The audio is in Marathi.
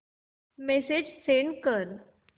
मेसेज सेंड कर